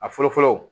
A fɔlɔ fɔlɔ